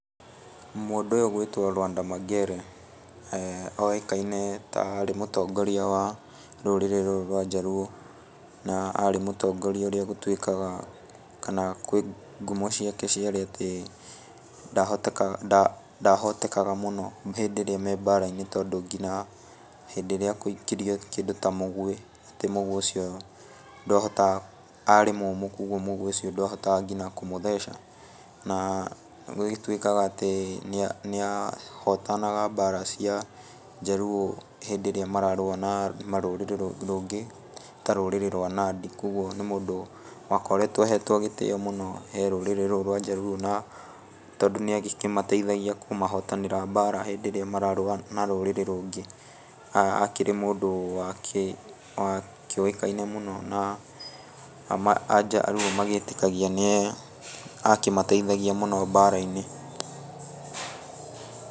Mũndũ ũyũ ũgwĩtwo Lwanda Magere oĩkaine ta aarĩ mũtongoria wa rũrĩrĩ rũrũ rwa Njaruo, na aarĩ mũtongoria ũrĩa gũtwĩkaga, kana kwĩ ngumo ciake ciarĩ atĩ ndahotekaga mũno hĩndĩ ĩrĩa me mbara-inĩ, tondũ nginya hĩndĩ ĩrĩa agũikĩrio kĩndũ ta mũguĩ, atĩ mũguĩ ucio, arĩ mũmũ kogwo mũguĩ ucio ndwahotaga nginya kũmũtheca. Na gũgĩtwĩkaga atĩ nĩahotanaga mbaara cia Njaruo hĩndĩ ĩrĩa mararũa na rũrĩrĩ rũngĩ, ta rũrĩrĩ rwa Nandĩ kogwo nĩ mũndũ wakoretwo ahetwo gĩtĩĩo mũno ee rũrĩrĩ rũu rwa Njaruo na tondũ nĩagĩkĩmateithagia kũmahotanĩra mbaara hĩndĩ ĩrĩa mararũa na rũrĩrĩ rũngĩ. Aakĩrĩ mũndũ wakĩũĩkaine mũno na Anjaruũ magĩtĩkagia nĩ akĩmateithagia mũno mbara-inĩ.